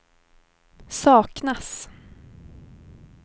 saknas